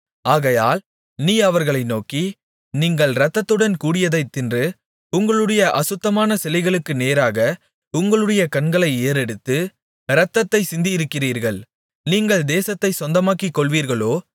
ஆகையால் நீ அவர்களை நோக்கி நீங்கள் இரத்தத்துடன் கூடியதைத் தின்று உங்களுடைய அசுத்தமான சிலைகளுக்கு நேராக உங்களுடைய கண்களை ஏறெடுத்து இரத்தத்தைச் சிந்தியிருக்கிறீர்கள் நீங்கள் தேசத்தைச் சொந்தமாக்கிக்கொள்வீர்களோ